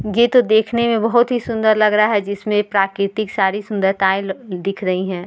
ये तो देखने में बहुत ही सुन्दर लग रहा है जिसमे प्राकतिक सारी सुन्दरताएं दिख रही है।